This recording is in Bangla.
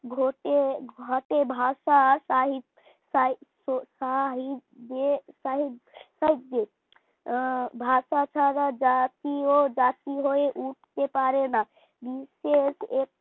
ঘটে ঘটে ভাষার সাহিত সাহিত্য তাই তাই যে তাই ভাষা ছাড়া জাতীও জাতি হয়ে উঠতে পারে না নিজের